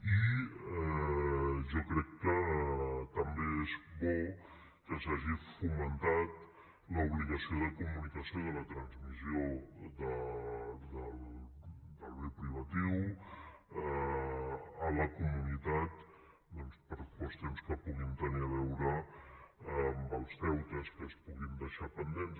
i jo crec que també és bo que s’hagi fomentat l’obligació de comunicació de la transmissió del bé privatiu a la comunitat per qüestions que puguin tenir a veure amb els deutes que es puguin deixar pendents